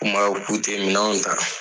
U kun b'a fɔ k'untɛ minɛnw ta.